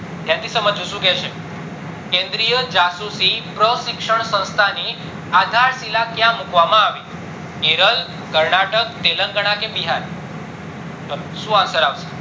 ધ્યાનથી સમજજો શું કહે છે કેન્દ્રિય જાસુસી પ્રશીક્ષણ સંસ્થા ની ક્યાં મુકવામાં આવી કેરલ, કર્નાટક, તેલંગાના કે બિહાર? ચલો શું answer આવશે